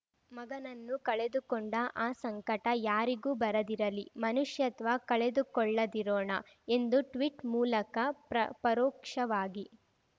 ಮಗನನ್ನು ಕಳೆದುಕೊಂಡ ಆ ಸಂಕಟ ಯಾರಿಗೂ ಬರದಿರಲಿ ಮನುಷ್ಯತ್ವ ಕಳೆದುಕೊಳ್ಳದಿರೋಣ ಎಂದು ಟ್ವೀಟ್‌ ಮೂಲಕ ಪ್ರ ಪರೋಕ್ಷವಾಗಿ